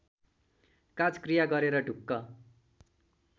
काजक्रिया गरेर ढुक्क